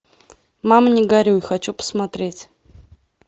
мама не горюй хочу посмотреть